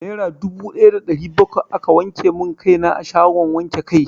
Nera dubu daya da ɗari bakwai aka wanke mun kai na a shagon wanke kai.